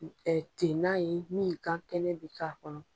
Tennan ye min gan kɛnɛ bi k'a kɔnɔ.